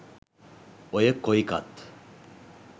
ඔය කොයිකත්